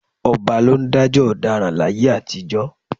Ọba ló ń dájọ́ ọ̀daràn láyé àtijọ́